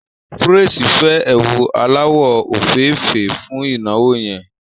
Praise fẹ́ ẹ̀wù aláwọ̀ òféèfé fún ìnáwó yẹn